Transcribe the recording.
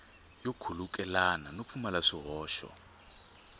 yo khulukelana no pfumala swihoxo